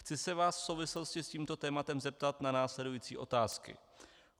Chci se vás v souvislosti s tímto tématem zeptat na následující otázky.